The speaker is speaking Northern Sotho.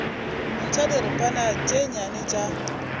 ntšha diripana tše nnyane tša